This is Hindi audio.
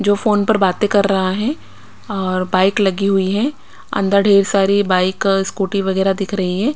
जो फोन पर बातें कर रहा है और अ अ बाइक लगी हुई है अंदर ढेर सारी बाइक स्कूटी वगैरह दिख रही हैं।